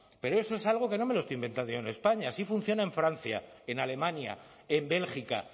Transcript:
pero eso es algo que no me lo estoy inventando yo en españa así funciona en francia en alemania en bélgica